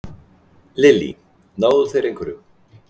Lillý: Náðu þeir einhverjum?